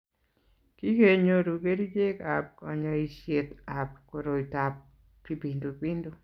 kikenyoru kerichekab kanyoisetab koroitab kipindupindu